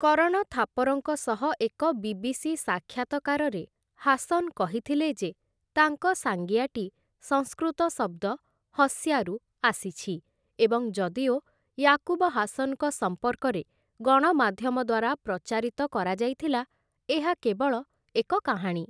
କରଣ ଥାପରଙ୍କ ସହ ଏକ ବି.ବି.ସି. ସାକ୍ଷାତକାରରେ ହାସନ୍‌ କହିଥିଲେ ଯେ ତାଙ୍କ ସାଙ୍ଗିଆଟି ସଂସ୍କୃତ ଶବ୍ଦ 'ହସ୍ୟା'ରୁ ଆସିଛି ଏବଂ ଯଦିଓ ୟାକୁବ ହାସନ୍‌ଙ୍କ ସମ୍ପର୍କରେ ଗଣମାଧ୍ୟମ ଦ୍ୱାରା ପ୍ରଚାରିତ କରାଯାଇଥିଲା, ଏହା କେବଳ ଏକ କାହାଣୀ ।